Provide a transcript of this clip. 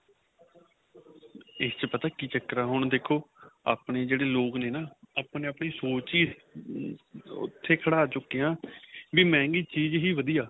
ਇੱਕ ਪਤਾ ਕੀ ਚੱਕਰ ਆਂ ਹੁਣ ਦੇਖੋ ਆਪਣੇਂ ਜਿਹੜੇ ਲੋਕ ਨੇ ਨਾ ਆਪਣੀ ਆਪਣੀ ਸੋਚ ਹੀ ਉਥੇ ਖੜਾ ਚੁੱਕੇ ਆਂ ਵੀ ਮੰਹਿਗੀ ਚੀਜ ਹੀ ਵਧੀਆ